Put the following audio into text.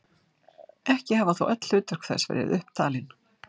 Ekki hafa þó öll hlutverk þess verið upp talin.